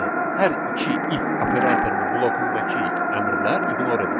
Yəni hər iki if operatorunun blokundakı əmrlər iqnor edildi.